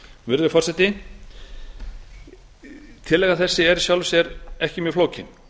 virðulegi forseti tillaga þessi er í sjálfu sér ekki mjög flókin og